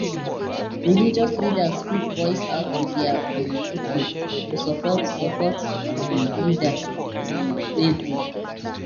religious leaders fit voice out to dia um pipol to support support um leader um wey good